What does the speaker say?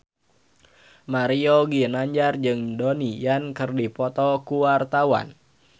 Mario Ginanjar jeung Donnie Yan keur dipoto ku wartawan